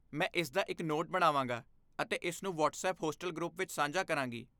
ਮੈਂ ਇਸਦਾ ਇੱਕ ਨੋਟ ਬਣਾਵਾਂਗਾ ਅਤੇ ਇਸਨੂੰ ਵ੍ਹਾਟਸਪੱਪ ਹੋਸਟਲ ਗਰੁੱਪ ਵਿੱਚ ਸਾਂਝਾ ਕਰਾਂਗੀ।